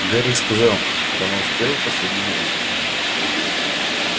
гарик сказал что она успела в последний момент